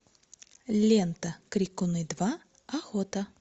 лента крикуны два охота